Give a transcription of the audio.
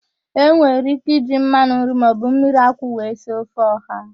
E nwere ike iji mmanụ nri maọbụ mmiriakwụ wee sie ofe ọha